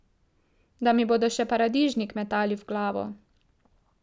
Da mi bodo še paradižnik metali v glavo!